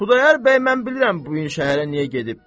Xudayar bəy mən bilirəm bu gün şəhərə niyə gedib.